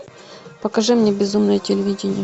покажи мне безумное телевидение